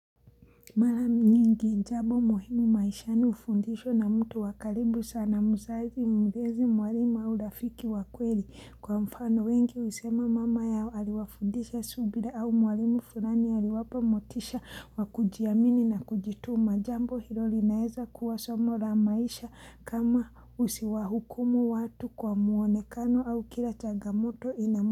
Mara nyingi jambo muhimu maishani ufundisho na mtu wa karibu sana mzazi mlezi mwalimu au rafiki wa kweli kwa mfano wengi husema mama yao aliwafundisha subira au mwalimu fulani aliwapa motisha wa kujiamini na kujituma jambo hilo linaeza kuwa somo la maisha kama usiwahukumu watu kwa mwonekano au kila changamoto inamu.